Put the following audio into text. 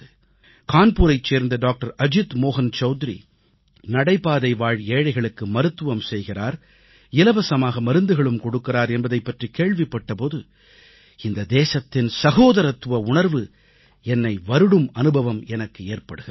கான்பூரைச் சேர்ந்த டாக்டர் அஜித் மோஹன் சவுத்ரி நடைபாதைவாழ் ஏழைகளுக்கு மருத்துவம் செய்கிறார் இலவசமாக மருந்துகளும் கொடுக்கிறார் என்பதைப் பற்றிக் கேள்விப்பட்ட போது இந்த தேசத்தின் சகோதரத்துவ உணர்வு என்னை வருடும் அனுபவம் எனக்கு ஏற்படுகிறது